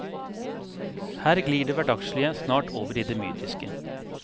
Her glir det hverdagslige snart over i det mytiske.